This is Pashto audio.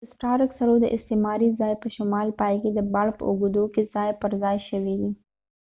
د سټارک سړو د استعماري ځای په شمال پای کې د باړ په اوږدو کې ځای پر ځای شوي دي